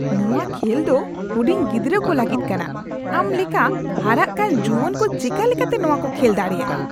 ᱱᱚᱶᱟ ᱠᱷᱮᱞ ᱫᱚ ᱦᱩᱰᱤᱧ ᱜᱤᱫᱽᱨᱟᱹ ᱠᱚ ᱞᱟᱹᱜᱤᱫ ᱠᱟᱱᱟ ᱾ ᱟᱢ ᱞᱮᱠᱟ ᱦᱟᱨᱟᱜ ᱠᱟᱱ ᱡᱩᱣᱟᱹᱱ ᱠᱚ ᱪᱮᱠᱟ ᱞᱮᱠᱟᱛᱮ ᱱᱚᱣᱟ ᱠᱚ ᱠᱷᱮᱞ ᱫᱟᱲᱮᱭᱟᱜᱼᱟ ?